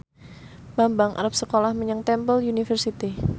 Bambang arep sekolah menyang Temple University